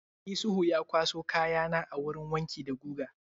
Isuhu ya kwaso kaya na a wurin wanki da guga?